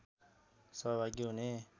सहभागी हुने